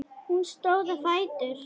Hún stóð á fætur.